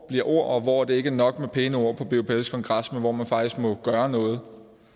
et ord og hvor det ikke er nok med pæne ord på bupls kongres men hvor man faktisk må gøre noget